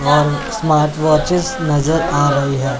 और smart watches नजर आ रही है।